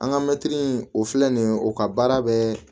An ka mɛtiri o filɛ nin ye o ka baara bɛ